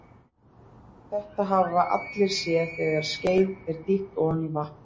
Þetta hafa allir séð þegar skeið er dýft ofan í vatn.